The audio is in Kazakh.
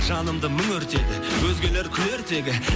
жанымды мың өртеді өзгелер күлер тегі